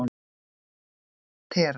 Tera